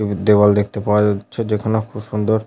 একটি দেওয়াল দেখতে পাওয়া যাচ্ছে। যেখানে খুব সুন্দর --